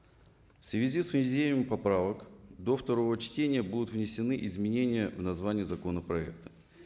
в связи с введением поправок до второго чтения будут внесены изменения в название законопроекта